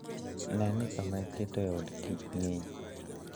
Ne ni kama iketoe od kich kichr.